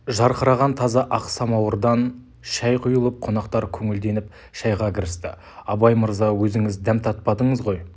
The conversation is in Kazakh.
жарқыраған таза ақ самауырдан шай құйылып қонақтар көңілденіп шайға кірісті абай мырза өзіңіз дәм татпадыңыз ғой